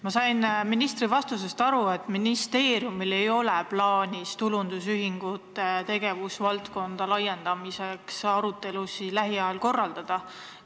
Ma sain ministri vastusest aru, et ministeeriumil ei ole plaanis tulundusühistute tegevusvaldkonna laiendamiseks lähiajal arutelusid korraldada.